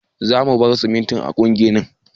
Za mu bar simintin a gurin ginnin